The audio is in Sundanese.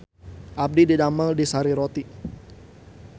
Abdi didamel di Sari Roti